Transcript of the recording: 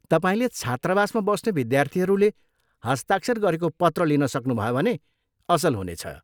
तपाईँले छात्रावासमा बस्ने विद्यार्थीहरूले हस्ताक्षर गरेको पत्र लिन सक्नुभयो भने असल हुनेछ।